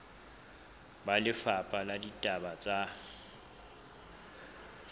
ba lefapha la ditaba tsa